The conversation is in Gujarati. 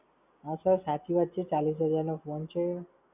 હાં Sir સાચી વાત છે. ચાલીસ હજારનો ફોન છે.